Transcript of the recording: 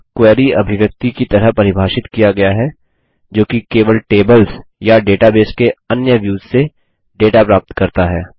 यह क्वेरी अभिव्यक्ति की तरह परिभाषित किया गया है जोकि केवल टेबल्स या डेटाबेस के अन्य व्युस से डेटा प्राप्त करता है